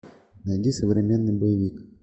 найди современный боевик